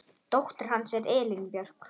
Dóttir hans er Elín Björk.